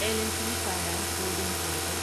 L and T finance holdings limited